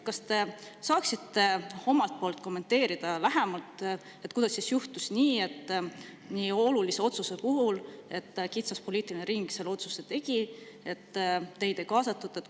Kas te saaksite omalt poolt kommenteerida, kuidas ikkagi juhtus, et nii olulise otsuse tegi kitsas poliitikute ring, teid ei kaasatud?